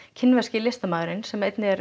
kínverski listamaðurinn sem er